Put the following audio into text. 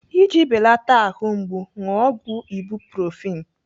Iji belata ahụ mgbu, ṅụọ ọgwụ ibuprofen.